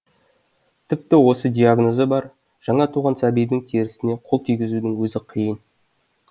тіпті осы диагнозы бар жаңа туған сәбидің терісіне қол тигізудің өзі қиын